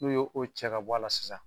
N'u ye o cɛ ka bɔ la sisan